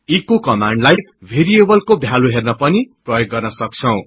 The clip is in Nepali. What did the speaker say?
एचो कमान्डलाई भेरिएबलको भ्यालु हेर्नपनि प्रयोग गर्न सक्छौ